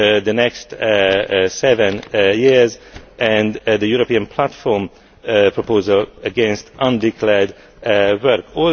for the next seven years and the European platform proposal against undeclared